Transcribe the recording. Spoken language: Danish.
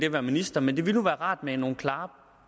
at være minister men det ville nu være rart med nogle klare